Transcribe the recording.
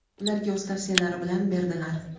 ularga o‘z tavsiyalari bilan berdilar.